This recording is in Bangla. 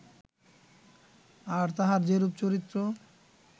আর তাঁহার যেরূপ চরিত্র